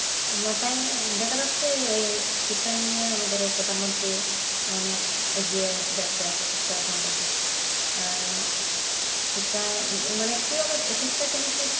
মাথায় দেখা যাচ্ছে ওই শিক্ষা নিয়ে আমাদের ওই প্রধানমন্ত্রী অনেক এগিয়ে যাচ্ছে আর কি শিক্ষার সম্বন্ধে আর শিক্ষা কিভাবে চেষ্টা তিনি